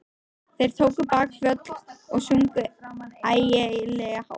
Þeir tóku bakföll og sungu ægilega hátt.